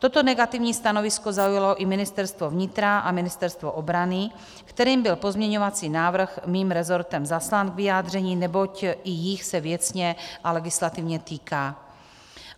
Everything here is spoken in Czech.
Toto negativní stanovisko zaujalo i Ministerstvo vnitra a Ministerstvo obrany, kterým byl pozměňovací návrh mým rezortem zaslán k vyjádření, neboť i jich se věcně a legislativně týká.